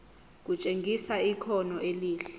kutshengisa ikhono elihle